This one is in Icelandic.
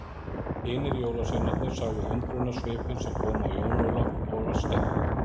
Hinir jólasveinarnir sáu undrunarsvipinn sem kom á Jón Ólaf og var skemmt.